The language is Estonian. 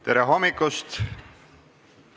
Tere hommikust!